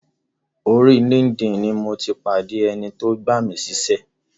Orí linkedin ni mo ti pàdé ẹni tó gbà mí síṣẹ́.